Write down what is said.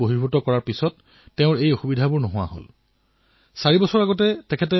চাৰি বছৰ পূৰ্বে তেওঁ নিজৰ গাঁৱৰ কৃষক ভাইসকলৰ সৈতে লগ হৈ কৃষক উৎপাদক গোটৰ স্থাপন কৰিলে